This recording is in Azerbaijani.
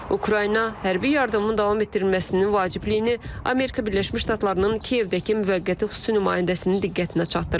Ukrayna hərbi yardımın davam etdirilməsinin vacibliyini Amerika Birləşmiş Ştatlarının Kiyevdəki müvəqqəti xüsusi nümayəndəsinin diqqətinə çatdırıb.